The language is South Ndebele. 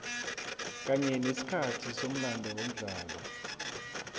kanye nesikhathi somlando womdlalo